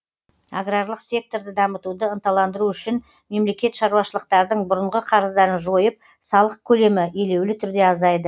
аграрлық секторды дамытуды ынталандыру үшін мемлекет шаруашылықтардың бұрынғы қарыздарын жойып салық келемі елеулі түрде азайды